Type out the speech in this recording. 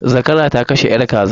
Zakara ta kashe yar kaza.